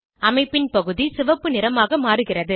அமைப்பின் பகுதி சிவப்பு நிறமாக மாறுகிறது